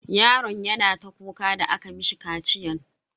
Yaron yana ta kuka da aka mishi kaciyan.